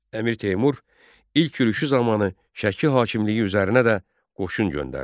Əmir Teymur ilk yürüşü zamanı Şəki hakimliyii üzərinə də qoşun göndərdi.